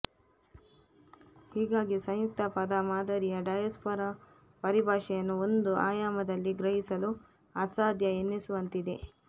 ಹೀಗಾಗಿ ಸಂಯುಕ್ತ ಪದ ಮಾದರಿಯ ಡಯಾಸ್ಪೊರಾ ಪರಿಭಾಷೆಯನ್ನು ಒಂದು ಆಯಾಮದಲ್ಲಿ ಗ್ರಹಿಸಲು ಅಸಾಧ್ಯ ಎನ್ನಿಸುವಂತಿದೆ